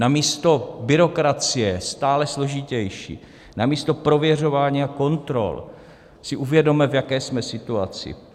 Namísto byrokracie, stále složitější, namísto prověřování a kontrol si uvědomme, v jaké jsme situaci.